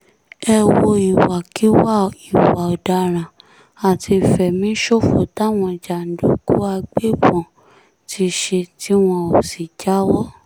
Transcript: ẹ wo ìwàkiwà ìwà ọ̀daràn àti ìfẹ̀míṣòfò táwọn jàǹdùkú àgbẹ̀bọ́n ti ṣe tí wọn ò sì jáwọ́